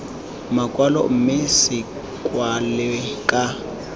makwalo mme se kwalwe ka